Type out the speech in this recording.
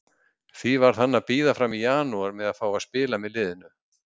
Því varð hann að bíða fram í janúar með að fá að spila með liðinu.